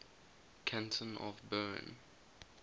canton of bern